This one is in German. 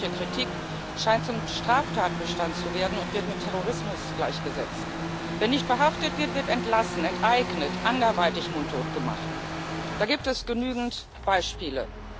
Jegliche Kritik scheint zum Straftatbestand zu werden und wird mit Terrorismus gleichgesetzt. Wer nicht verhaftet wird, wird entlassen, enteignet, anderweitig mundtot gemacht da gibt es genügend Beispiele.